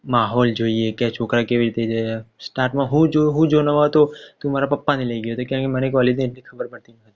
માહોલ જોઈએ કે છોકરા કેવી રીતે છે stat હું જો નવો હતો તો મારા પપ્પાને લાય ગયો હતો કારણ મને કોલેજની એટલી ખબર